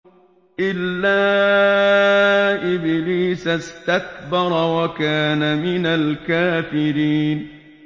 إِلَّا إِبْلِيسَ اسْتَكْبَرَ وَكَانَ مِنَ الْكَافِرِينَ